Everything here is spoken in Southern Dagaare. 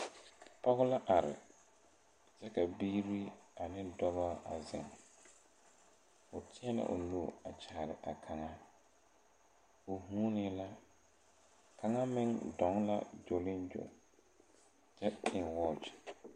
Pɔge la are kyɛ ka biiri ane dɔba a zeŋ o teɛ la o nu a kyaare a kaŋa o vuunee la kaŋa meŋ dɔɔ la kyɛ eŋ wɔɔkyi